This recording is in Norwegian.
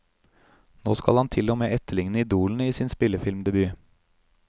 Nå skal han til og med etterligne idolene i sin spillefilmdebut.